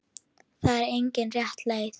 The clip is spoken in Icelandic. Það er engin rétt leið.